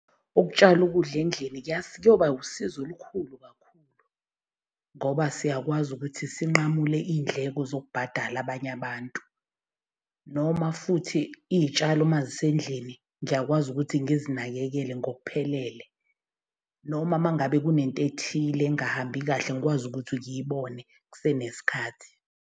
Ukutshala ukudla endlini kuyoba usizo olukhulu kakhulu ngoba siyakwazi ukuthi sinqamule iy'ndleko zokubhatala abanye abantu. Noma futhi iy'tshalo mazisendlini ngiyakwazi ukuthi ngizinakekele ngokuphelele noma uma ngabe kunento ethile engahambi kahle, ngikwazi ukuthi ngiyibone kusenesikhathi.